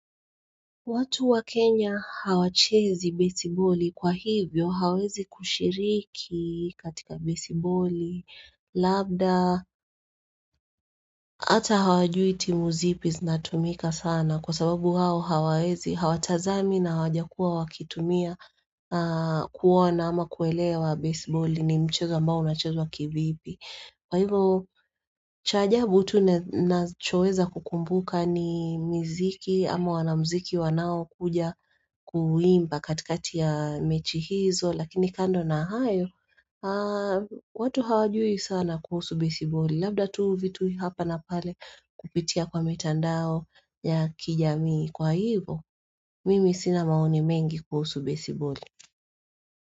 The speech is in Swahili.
Watu wa Kenya hawachezi baseballi kwa hivyo, hawezi kushiriki katika baseballi, labda hata hawajui timu zipi zinatumika sana kwa sababu hao hawatazami na wajakua wakitumia kuona ama kuelewa baseballi ni mchezo ambao unachezo kivipi. Kwa hivo cha ajabu tu nachoeza kukumbuka ni mziki ama wana mziki wanao kuja kuimba katikati ya mechi hizo lakini kando na hayo watu hawajui sana kuhusu besiboli labda tu vitu hapa na pale kupitia kwa mitandao ya kijamii kwa hivo mimi sina maoni mengi kuhusu besiboli.